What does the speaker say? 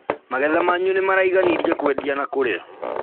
Magetha manyu nĩmaraiganirie kũendia na kũrĩa?